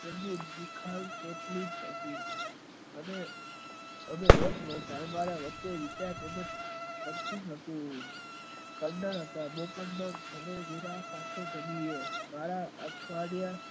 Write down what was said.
અને દરોજ અમારા વચ્ચે અમે રોજ મળતા અમારા વચ્ચે બોવ સારું હતું.